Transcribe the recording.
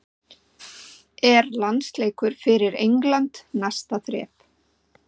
Er landsleikur fyrir England næsta þrep?